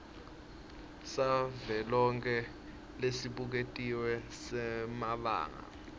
savelonkhe lesibuketiwe semabanga